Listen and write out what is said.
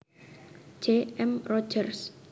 J M Rogers